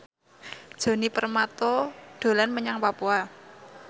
Djoni Permato dolan menyang Papua